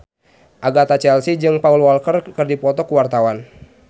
Agatha Chelsea jeung Paul Walker keur dipoto ku wartawan